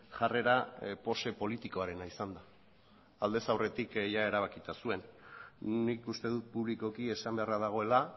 jarrera pose politikoarena izan da aldez aurretik ia erabakita zuen nik uste dut publikoki esan beharra dagoela